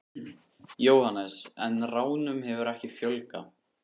Jóhannes: En ránum hefur ekki fjölgað?